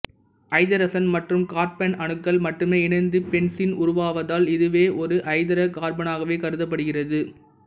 ஐதரசன் மற்றும் கார்பன் அணுக்கள் மட்டுமே இணைந்து பென்சீன் உருவாவதால் இதுவும் ஒரு ஐதரோ கார்பனாகவே கருதப்படுகிறது